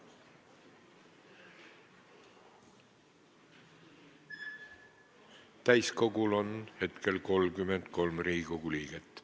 Kohaloleku kontroll Täiskogul on hetkel 33 Riigikogu liiget.